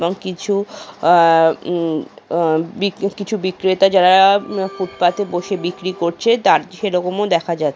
এবং কিছু আ উম আ বিক্রে কিছু বিক্রেতা যারা ফুটপাতে বসে বিক্রি করছে তার সেরকমও দেখা যা--